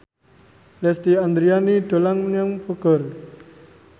Lesti Andryani dolan menyang Bogor